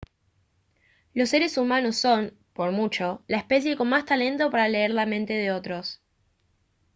los seres humanos son por mucho la especie con más talento para leer la mente de otros